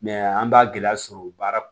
an b'a gɛlɛya sɔrɔ baara